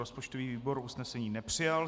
Rozpočtový výbor usnesení nepřijal.